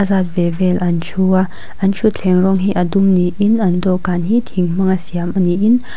zat ve vel an ṭhu a an ṭhutthleng rawng hi a dum niin an dawhkan hi thing hmanga siam niin--